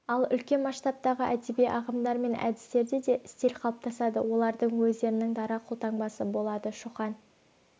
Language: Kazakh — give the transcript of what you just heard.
ал үлкен масштабтағы әдеби ағымдар мен әдістерде де стиль қалыптасады олардың өздерінің дара қолтаңбасы болады шоқан